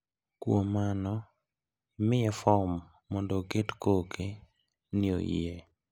Kuom mano imiye fom mondo oket koke ni oyie.